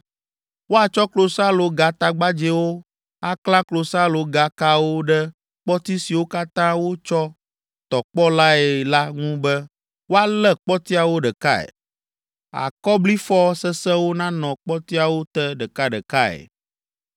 Woatsɔ klosalogatagbadzɛwo aklã klosalogakawo ɖe kpɔti siwo katã wotsɔ tɔ kpɔ lae la ŋu be woalé kpɔtiawo ɖekae. Akɔblifɔ sesẽwo nanɔ kpɔtiawo te ɖekaɖekae.